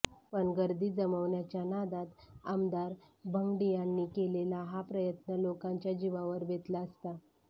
पण गर्दी जमवण्याचा नादात आमदार भंगडियांनी केलेला हा प्रयत्न लोकांच्या जीवावर बेतला असता